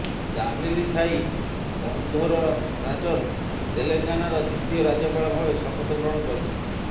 ତାମିଲିସାଇ ସୌନ୍ଦରରାଜନ ତେଲେଙ୍ଗାନାର ଦ୍ୱିତୀୟ ରାଜ୍ୟପାଳ ଭାବେ ଶପଥଗ୍ରହଣ କରିଛନ୍ତି